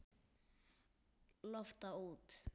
Lofta út.